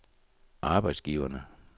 arbejdsgiverne